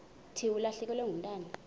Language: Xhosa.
thi ulahlekelwe ngumntwana